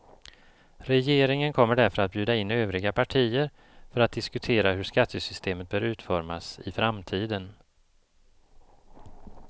Regeringen kommer därför att bjuda in övriga partier för att diskutera hur skattesystemet bör utformas i framtiden.